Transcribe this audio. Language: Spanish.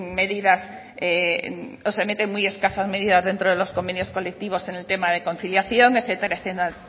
medidas o se meten muy escasas medidas dentro de los convenios colectivos en el tema de conciliación etcétera etcétera